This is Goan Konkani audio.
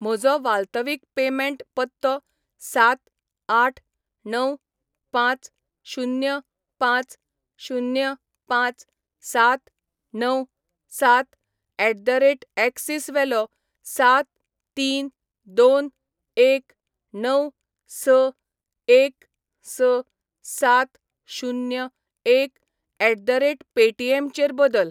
म्हजो वाल्तवीक पेमेंट पत्तो सात आठ णव पांच शुन्य पांच शुन्य पांच सात णव सात एट द रेट एक्सीस वेलो सात तीन दोन एक णव स एक स सात शुन्य एक एट द रेट पेटीएमचेर बदल.